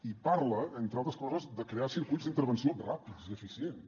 i parla entre altres coses de crear circuits d’intervenció ràpids i eficients